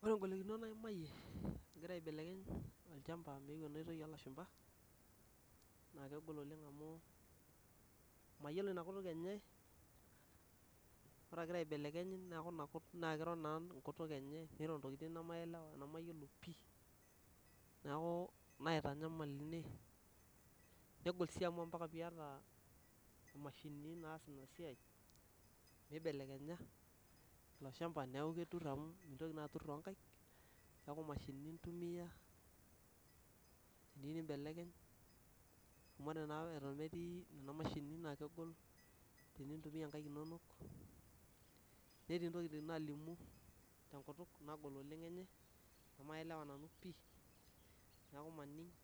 Ore ngolikinot naimayie agira aibelekeny olchamba meeu enoitoi oolashumba naa kegol oleng amu mayiolo ina kutuk enye, ore agira aibelekeny naa kiro naa engutuk enye niro ntokiting nemaelewa nemayiolo pih niaku naitanyamal ine negol sii amu ompaka piyata imashinini naas ina siai nibelekenya ilo shamba amu ketur amu mintoki naa atur too toonkaik niaku imashinini intumia teneyieu nimbelekeny amu ore naa eton etii nena mashinini naa kegol tenintumia nkaik inono netii intokiting naalimu tenkutuk negol oleng enkutuk enye amu maelewa nanu pih Niaku mannig'